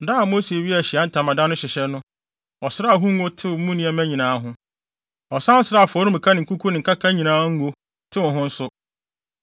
Da a Mose wiee Ahyiae Ntamadan no hyehyɛ no, ɔsraa ho nyinaa ngo, tew mu nneɛma nyinaa ho. Ɔsan sraa afɔremuka ne ho nkuku ne nkaka nyinaa ngo, tew ho nso.